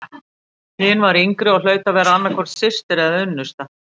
Hin var yngri og hlaut að vera annað hvort systir eða unnusta.